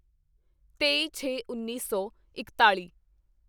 ਤੇਈਛੇਉੱਨੀ ਸੌ ਇਕਤਾਲੀ